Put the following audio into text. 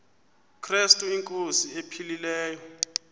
krestu inkosi ephilileyo